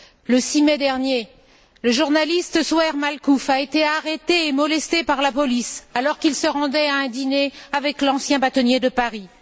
Le 6 mai dernier, le journaliste Zouhair Makhlouf a été arrêté et molesté par la police alors qu'il se rendait à un dîner avec l'ancien bâtonnier de Paris.